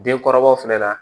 Denkɔrɔbaw fɛnɛ na